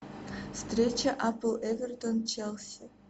встреча апл эвертон челси